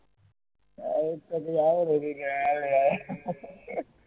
હવે પછી